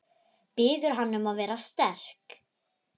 Biður hana um að vera sterk.